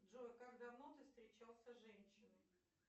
джой как давно ты встречался с женщиной